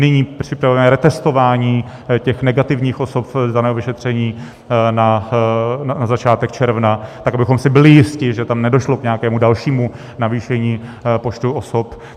Nyní připravujeme retestování těch negativních osob z daného vyšetření na začátek června, tak abychom si byli jisti, že tam nedošlo k nějakému dalšímu navýšení počtu osob.